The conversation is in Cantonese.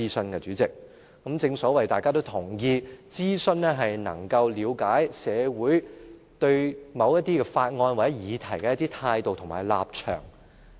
代理主席，正如大家都同意，諮詢能夠了解社會對某些法案或議題的一些態度和立場。